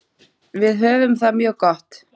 Við höfum það mjög gott.